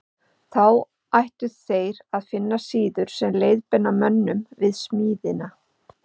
Þá ættu þeir að finna síður sem leiðbeina mönnum við smíðina.